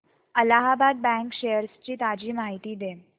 Allahabad bank shares ची ताजी माहिती दे